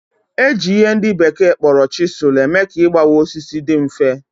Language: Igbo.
Eji ihe ndị bekee kpọrọ chisel eme ka igbawa osisi dị mfe